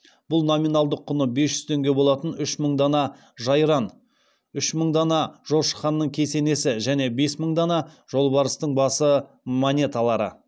бұл номиналдық құны бес жүз теңге болатын үш мың дана жайран үш мың дана жошы ханның кесенесі және бес мың дана жолбарыстың басы монеталары